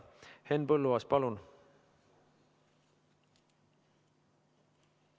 Henn Põlluaas, palun!